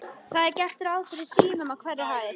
Það er gert ráð fyrir símum á hverri hæð.